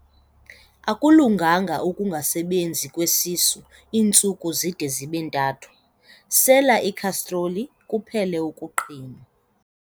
Akulunganga ukungasebenzi kwesisu iintsuku zide zibe ntathu, sela ikhastroli kuphele ukuqhinwa.